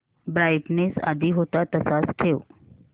brightness आधी होता तसाच ठेव